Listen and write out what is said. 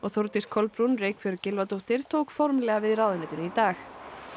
Þórdís Kolbrún Reykfjörð Gylfadóttir tók formlega við ráðuneytinu í dag